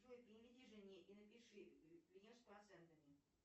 джой переведи жене и напиши вернешь с процентами